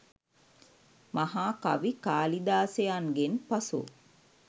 මහා කවි කාලිදාසයන්ගෙන් පසු